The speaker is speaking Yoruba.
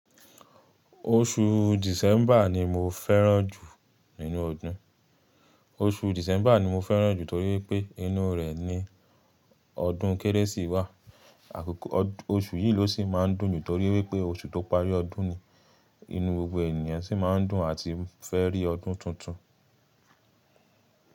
Oṣu December ni mo fẹ́ràn jù nínú ọdún. Oṣu December ni mo fẹ́ràn jù torí pé inú rẹ̀ ni ọdún Kérésì wà. Àkókò, oṣu yìí ló sì máa ń dùn jù torí pé oṣu tó parí ọdún ni, inú gbogbo ènìyàn sì máa ń dùn àti fẹ́ rí ọdún tuntun.